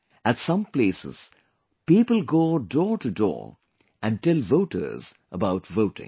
At some places people go door to door and tell voters about voting